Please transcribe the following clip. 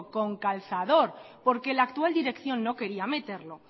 con calzador porque la actual dirección no quiera meterlo